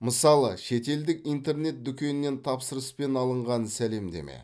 мысалы ш етелдік интернет дүкеннен тапсырыспен алынған сәлемдеме